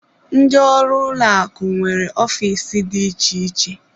Ndị ọrụ ụlọ akụ nwere ofiisi dị iche iche.